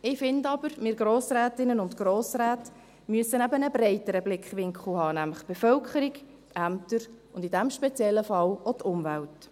Ich finde aber, wir Grossrätinnen und Grossräte müssen einen breiteren Blickwinkel haben, nämlich die Bevölkerung, die Ämter und in diesem speziellen Fall auch die Umwelt.